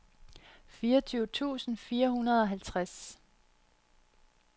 fireogtyve tusind fire hundrede og halvtreds